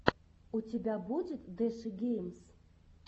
у тебя будет дэши геймс